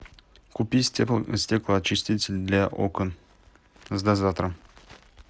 купи стеклоочиститель для окон с дозатором